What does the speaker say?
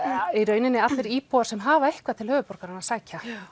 í raun allir íbúar sem hafa eitthvað til höfuðborgarinnar að sækja